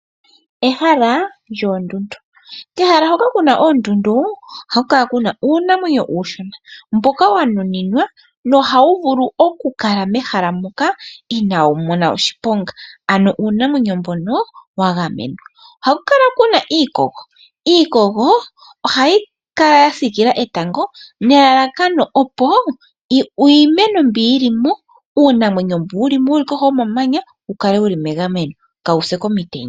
Ehala lyondundu, kehala hoka kuna oondundu ohaku kala kuna uunamwenyo uushona mboka wa nuninwa nohawu vulu oku kala mehala muka inawu mona oshiponga. Ano uunamwenyo mbono owa gamenwa, ohaku kala kuna iikogo. Iikogo ohayi kala ya sikila etango nelalakano opo uunamwenyo mbu yu limo yuli kohi yomamanya wu kale wuli megameno ka wu se komitenya.